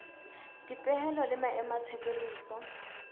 dipehelo le maemo a tshebediso